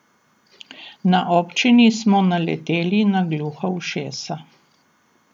Na občini smo naleteli na gluha ušesa.